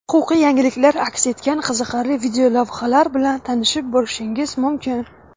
huquqiy yangiliklar aks etgan qiziqarli videolavhalar bilan tanishib borishingiz mumkin.